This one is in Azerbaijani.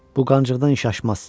Bu qancıqdan işəşməz.